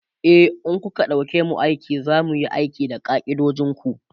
e in kuka ɗauke mu aiki zamuyi aiki da ka'idojinku